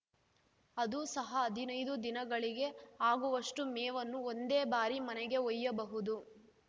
ಅದೂ ಸಹ ಹದಿನೈದು ದಿನಗಳಿಗೆ ಆಗುವಷ್ಟೂ ಮೇವನ್ನು ಒಂದೇ ಬಾರಿ ಮನೆಗೆ ಒಯ್ಯಬಹುದು